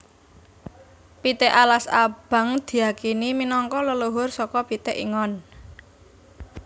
Pitik alas abang diyakini minangka leluhur saka pitik ingon